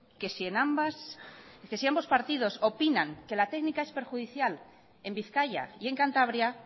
que si ambos partidos opinan que la técnica es perjudicial en bizkaia y en cantabria